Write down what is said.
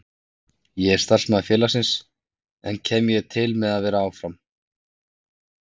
Ég er starfsmaður félagsins, en kem ég til með að vera áfram?